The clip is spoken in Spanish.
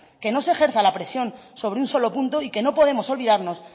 que no se ejerza la presión sobre un solo punto y que no podemos olvidarnos